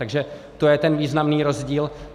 Takže to je ten významný rozdíl.